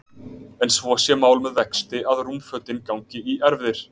En svo sé mál með vexti að rúmfötin gangi í erfðir.